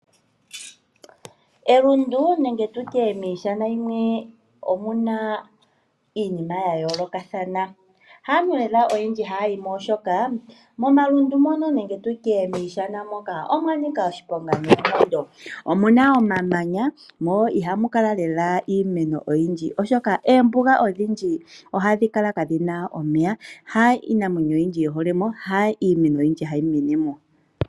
Elundu nenge miishana yimwe omuna iinima yayoolokothana. Haantu oyendji haya yimo oshoka momalundu moka omwanika oshiponga noonkondo. Omuna omamanya mo ihamu kala iimeno oyindji oshoka oombuga odhindji ohadhi kala kadhina omeya ha iinamwenyo oyindji yiholemo nenge iimeno hayi menemo.